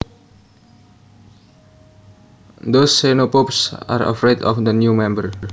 Those xenophobes are afraid of the new member